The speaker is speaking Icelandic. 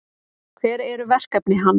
Hver eru verkefni hans?